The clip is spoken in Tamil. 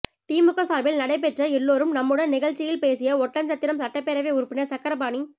திமுக சாா்பில் நடைபெற்ற எல்லோரும் நம்முடன் நிகழ்ச்சியில் பேசிய ஒட்டன்சத்திரம் சட்டப்பேரவை உறுப்பினா் சக்கரபாணி